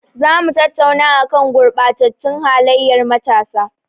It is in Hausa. Za mu tattauna a kan gurɓatattun halayyar matasa.